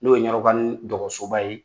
N'o ye ɲɔrɔbani dɔgɔsoba ye